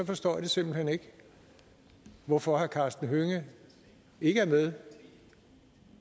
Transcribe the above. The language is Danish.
forstår jeg simpelt hen ikke hvorfor herre karsten hønge ikke er med